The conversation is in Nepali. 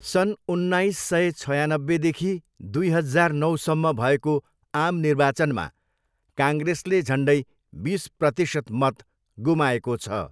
सन् उन्नाइस सय छयानब्बेदेखि दुई हजार नौसम्म भएको आम निर्वाचनमा काङ्ग्रेसले झन्डै बिस प्रतिशत मत गुमाएको छ।